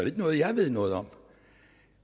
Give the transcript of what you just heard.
ikke noget jeg ved noget om